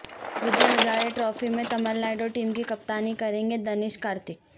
وجے Hazare trophy میں Tamil Nadu team کی کپتانی کریں گے دنیش کارتک